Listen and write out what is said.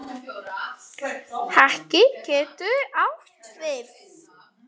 Haki getur átt við